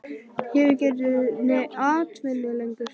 Ég hef ekki einu sinni atvinnu lengur